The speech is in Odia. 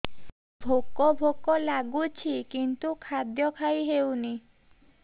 ଭୋକ ଭୋକ ଲାଗୁଛି କିନ୍ତୁ ଖାଦ୍ୟ ଖାଇ ହେଉନି